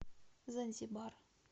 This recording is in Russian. занзибар